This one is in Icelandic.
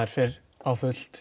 fer á fullt